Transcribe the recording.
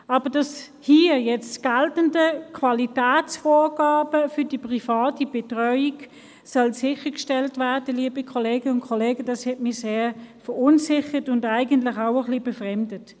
Aber dass hier nun Qualitätsvorgaben für die private Betreuung gelten sollen, liebe Kolleginnen und Kollegen, hat mich sehr verunsichert und eigentlich auch ein wenig befremdet.